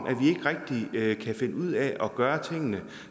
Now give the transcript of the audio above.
vi ikke rigtig kan finde ud af at gøre tingene